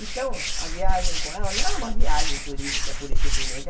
Então, a viagem com ela não era uma viagem turística, pura e simplesmente.